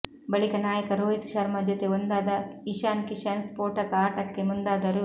ಬಳಿಕ ನಾಯಕ ರೋಹಿತ್ ಶರ್ಮಾ ಜೊತೆ ಒಂದಾದ ಇಶಾನ್ ಕಿಶನ್ ಸ್ಪೋಟಕ ಆಟಕ್ಕೆ ಮುಂದಾದರು